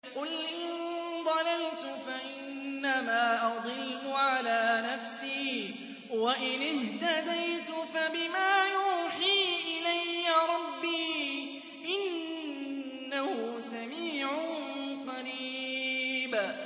قُلْ إِن ضَلَلْتُ فَإِنَّمَا أَضِلُّ عَلَىٰ نَفْسِي ۖ وَإِنِ اهْتَدَيْتُ فَبِمَا يُوحِي إِلَيَّ رَبِّي ۚ إِنَّهُ سَمِيعٌ قَرِيبٌ